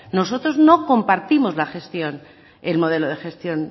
nosotros no compartimos la gestión el modelo de gestión